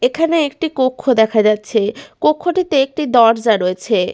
এখানে একটি কক্ষ দেখা যাচ্ছে কক্ষটিতে একটি দরজা রয়েছে।